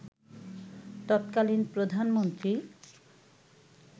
তৎকালীন প্রধানমন্ত্রী